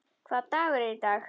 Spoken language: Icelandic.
Hvaða dagur er í dag?